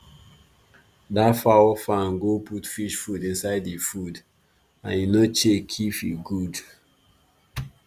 that fowl farm go put fish food inside e food and e no check if e good